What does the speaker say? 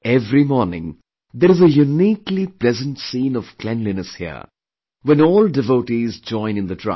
Every morning, there is a uniquely pleasant scene of cleanliness here when all devotees join in the drive